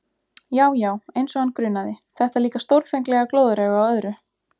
Já, já, eins og hann grunaði, þetta líka stórfenglega glóðarauga á öðru!